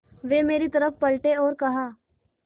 वे मेरी तरफ़ पलटे और कहा